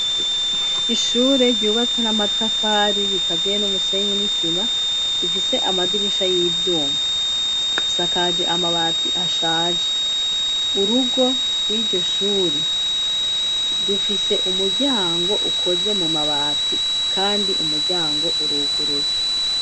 Ishure ryubatse n'amatafari rikaziye n'umusenyi n'isima rifise amadirisha y'ivyuma asakaje amabati ashaje urugo rw'iryo shuri rufise umuryango ukoze mu mabati kandi umuryango uruguruye.